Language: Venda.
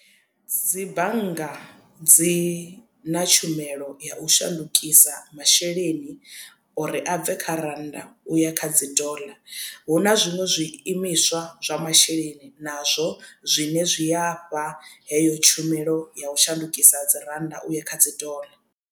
Dzi bannga dzi na tshumelo ya u shandukisa masheleni uri a bve kha rannda uya kha dzi doḽa hu na zwiṅwe zwi imiswa zwa masheleni nazwo zwine zwi a fha heyo tshumelo ya u shandukisa dzi rannda uya kha dzi doḽa.